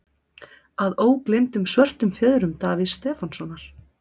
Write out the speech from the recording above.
Að ógleymdum Svörtum fjöðrum Davíðs Stefánssonar.